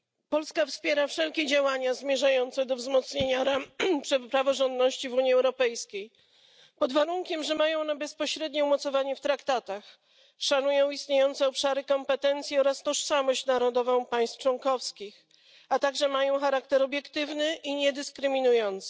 Polska wspiera wszelkie działania zmierzające do wzmocnienia ram praworządności w Unii Europejskiej, pod warunkiem że mają one bezpośrednie umocowanie w traktatach, szanują istniejące obszary kompetencji oraz tożsamość narodową państw członkowskich, a także mają charakter obiektywny i niedyskryminujący.